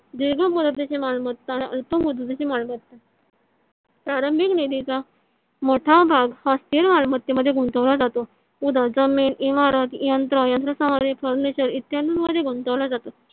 दीर्घ मुदतीची मालमत्ता आणि अल्प मुदतीची मालमत्ता . प्रारंभीक निधीचा मोठा भाग हा स्थिर मालमत्ते मध्ये गुंतवला जातो. उदा जमीन इमारत यंत्र यंत्रसमग्रि furniture इत्यादि मध्ये गुंतवला जातो.